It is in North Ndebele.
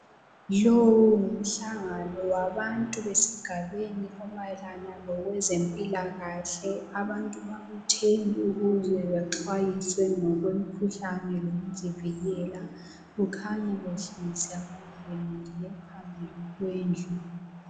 Lowu ngumhlangano wabantu besigabeni omayelana lezempilakahle. Abantu babuthene ukuze baxwayiswe ngokwemikhuhlane lokuzivikela. Kukhanya behlezi abanye bemile phambili kwendlu.